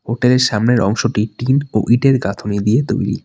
Hotel -এর সামনের অংশটি টিন ও ইঁটের গাঁথুনি দিয়ে তৈরি।